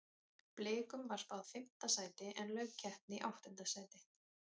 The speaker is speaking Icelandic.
Blikum var spáð fimmta sæti en lauk keppni í áttunda sæti.